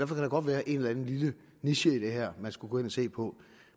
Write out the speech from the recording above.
der godt være en eller anden lille niche i det her man skulle gå ind og se på